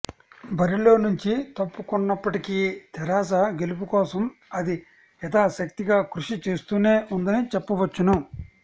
బరిలో నుంచి తప్పుకొన్నప్పటికీ తెరాస గెలుపు కోసం అది యధాశక్తిగా కృషి చేస్తూనే ఉందని చెప్పవచ్చును